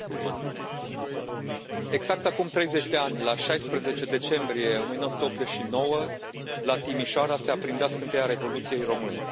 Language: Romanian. Doamnă președintă, exact acum 30 de ani, la 16 decembrie 1989, la Timișoara, se aprindea scânteia Revoluției române.